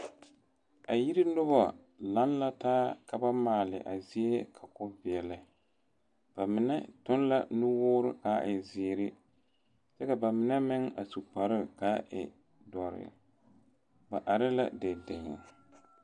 A yiri noba laŋ la taa ka ba maale a zie ka o veɛlɛ ba mine tuŋ la nuwoore ka e zeere kyɛ ka ba mine meŋ a su kpare ka e doɔre ba are la deŋdeŋ.